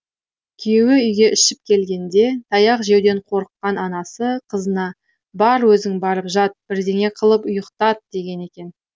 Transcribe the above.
күйеуі үйге ішіп келгенде таяқ жеуден қорыққан анасы қызына бар өзің барып жат бірдеңе қылып ұйықтат деген екен